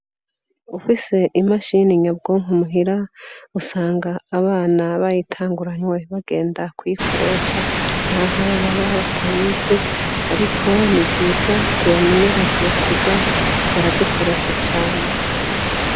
Ufise imashini nyabwonko muhira, usanga abana bayitanguranywe bagenda kuyikoresha naho baba batayizi ariko ni nziza, tubamenyereze kuza barazikoresha cane.